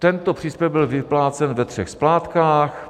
Tento příspěvek byl vyplácen ve třech splátkách.